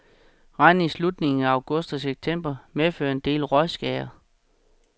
Regn i slutningen af august og september medførte en del rådskader.